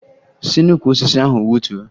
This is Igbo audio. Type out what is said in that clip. Si n'ukwu osisi ahụ wutuo!